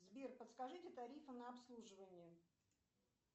сбер подскажите тарифы на обслуживание